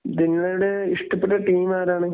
നിങ്ങളുടെ ഇഷ്ട്ടപ്പെട്ട ടീം ഏതാണ്?